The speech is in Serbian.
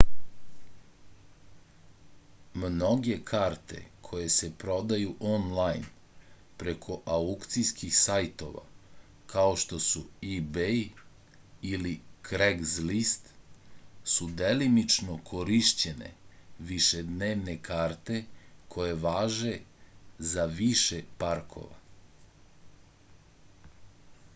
mnoge karte koje se prodaju onlajn preko aukcijskih sajtova kao što su ibej ili kregzlist su delimično korišćene višednevne karte koje važe za više parkova